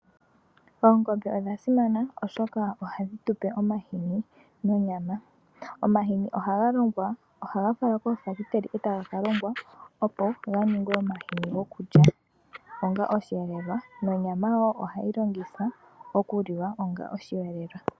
Oongombe odha simana oshoka ohadhi tuoe omahini nonyama. Omahini ohaga falwa koofactory etaga ka longwa opo ganingwe omahini goku lya onga oshiyelelwa nonyama ohayi longithwa okuliwa onga oshiyelelwa.